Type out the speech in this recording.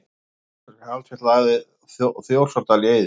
Hvaða íslenska eldfjall lagði Þjórsárdal í eyði?